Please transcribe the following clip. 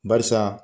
Barisa